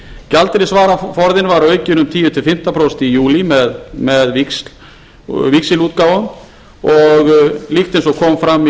gjaldeyrisvaraforðinn var aukinn um tíu til fimmtán prósent í júlí með víxilútgáfu og líkt og kom fram í